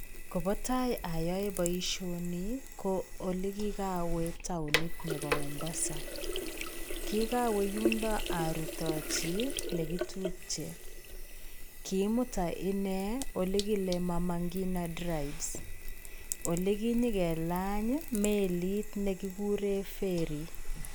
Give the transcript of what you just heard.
Kobatai ayoe boishoni ii ko olekikawee taonit neboo Mombasa, kikawee yundo arutochii i nekitupche, kimutan inee olekilee Mama Ngina drives, olekinyokelany meliit nekikuren verry.